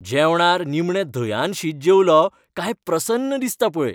जेवणार निमणे धंयान शीत जेवलों कांय प्रसन्न दिसता पळय.